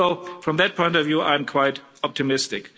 So, from that point of view, I'm quite optimistic.